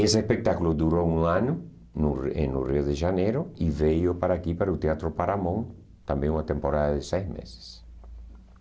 Esse espetáculo durou um ano no em no Rio de Janeiro e veio para aqui, para o Teatro Paramon, também uma temporada de seis meses.